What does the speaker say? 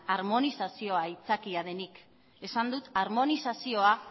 armonizazioa aitzakia denik esan dut armonizazioa